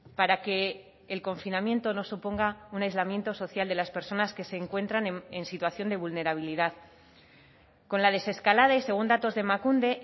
para que el confinamiento no suponga un aislamiento social de las personas que se encuentran en situación de vulnerabilidad con la desescalada y según datos de emakunde